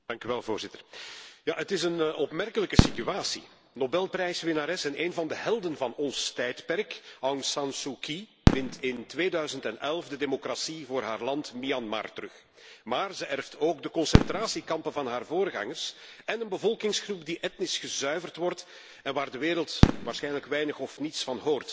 Het is een opmerkelijke situatie Nobelprijswinnares en een van de helden van ons tijdperk, Aung San Suu Kyi, wint in 2011 de democratie voor haar land Myanmar terug, maar erft ook de concentratiekampen van haar voorgangers en een bevolkingsgroep die etnisch gezuiverd wordt en waar de wereld waarschijnlijk weinig of niets van hoort de Rohingya.